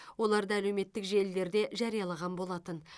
оларды әлеуметтік желілерде жариялаған болатын